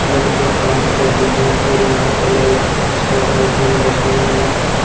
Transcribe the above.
लड़कियां काम कर रही है और यहां पर लाइट बहुत सारी लाइटें भी लगी हुई हैं।